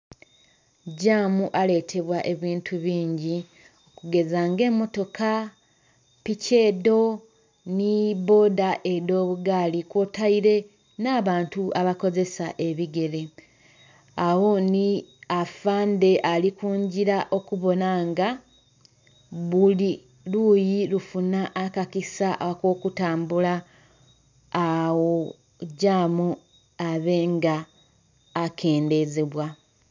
Gyaamu aletebwa ebintu bingi okugeza nga emotoka, piki edho nhi bboda edho bugaali kwotaire na'bantu aba kozesa ebigere. Agho nnhi afaande ali kungila okubonha nga buli luyii kufunha akakisa ako kutambula agho gyaamu abe nga akendhezebwa.